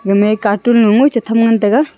gamey katun loye ngoi chetham ngantaga.